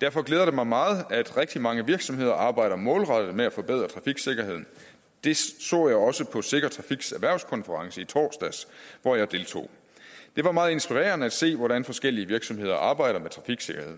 derfor glæder det mig meget at rigtig mange virksomheder arbejder målrettet med at forbedre trafiksikkerheden det så jeg også på sikker trafiks erhvervskonference i torsdags hvor jeg deltog det var meget inspirerende at se hvordan forskellige virksomheder arbejder med trafiksikkerhed